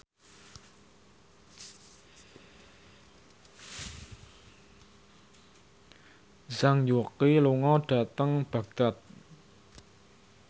Zhang Yuqi lunga dhateng Baghdad